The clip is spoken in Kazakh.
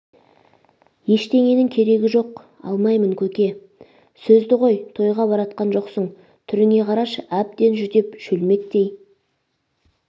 ештеңенің керегі жоқ алмаймын көке сөзді қой тойға бара жатқан жоқсың түріңе қарашы әбден жүдеп шөлмектей